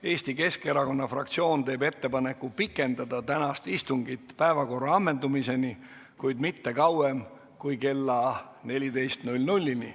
Eesti Keskerakonna fraktsioon teeb ettepaneku pikendada tänast istungit päevakorra ammendumiseni, kuid mitte kauem kui kella 14-ni.